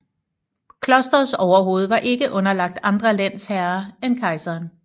Klosterets overhoved var ikke underlagt andre lensherrer end kejseren